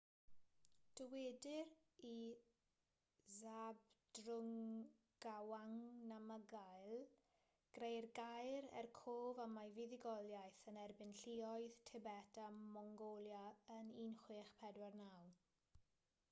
dywedir i zhabdrung ngawang namgyel greu'r gaer er cof am ei fuddugoliaeth yn erbyn lluoedd tibet a mongolia yn 1649